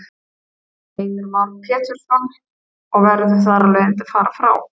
Heimir Már Pétursson: Og verður þar af leiðandi að fara frá?